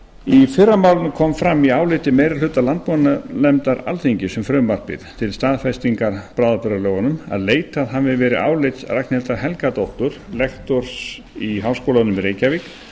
í fyrra málinu kom fram í áliti meiri hluta landbúnaðarnefndar alþingis um frumvarpið til staðfestingar bráðabirgðalögunum að leitað hafi verið álits ragnhildar helgadóttur lektors í háskólanum í reykjavík